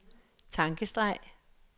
tankestreg